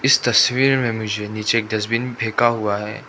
इस तस्वीर मे मुझे नीचे एक डस्टबीन फेंका हुआ है।